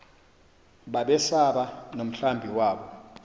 babesaba nomhlambi wabo